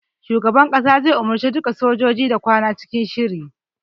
Shugaban kasa zai umarce duka sojoji da kwana cikin shiri.